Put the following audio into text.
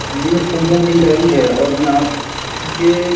ये फूलों की लरी है और यहाँ ये --